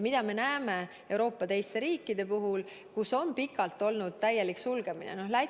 Mida me näeme Euroopa teistes riikides, kus on pikalt olnud täielik sulgemine?